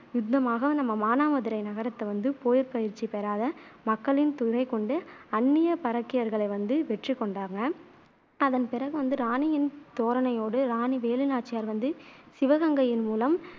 யுத்தமாக நம்ம மானாமதுரை நகரத்தை வந்து போர் பயிற்சி பெறாத மக்களின் துணைகொண்டு அந்நிய பரக்கியர்களை வெற்றிக்கொண்டாங்க அதன் பிறகு வந்து இராணியின் தோரணையோடு, இராணி வேலுநாச்சியார் வந்து சிவகங்கையின் மூலம்